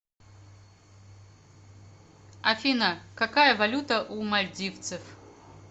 афина какая валюта у мальдивцев